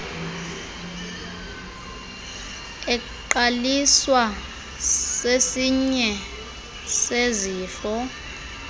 eqaliswa sesinye sezifo